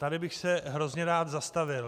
Tady bych se hrozně rád zastavil.